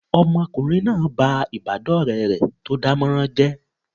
Ọmọkùnrin náà ba ìbádọ́ọ̀rẹ́ rẹ̀ tó dánmọrán jẹ́